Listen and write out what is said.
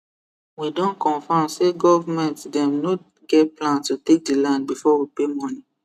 we don confirm say government dem no get plan to take the land before we pay money